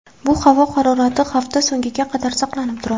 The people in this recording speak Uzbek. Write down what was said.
Bu havo harorati hafta so‘ngiga qadar saqlanib turadi.